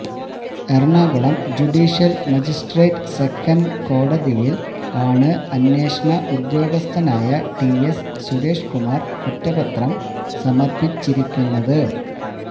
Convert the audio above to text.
Ernakulam judicial magistrate second കോടതിയില് ആണ് അന്വേഷണ ഉദ്യോഗസ്ഥനായ ടിഎസ് സുരേഷ് കുമാര് കുറ്റപത്രം സമര്പ്പിച്ചിരിക്കുന്നത്